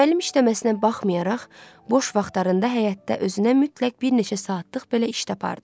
Müəllim işləməsinə baxmayaraq, boş vaxtlarında həyətdə özünə mütləq bir neçə saatlıq belə iş tapardı.